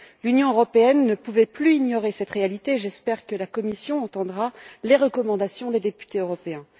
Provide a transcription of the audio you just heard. L'Union européenne ne pouvait plus ignorer cette réalité, j'espère que la Commission entendra les recommandations des députés européens.